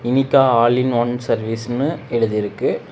இனிக்கா all in one சர்வீசுனு எழுதிருக்கு.